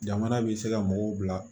Jamana bɛ se ka mɔgɔw bila